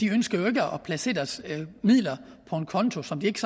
ønsker jo ikke at placere deres midler på en konto som de ikke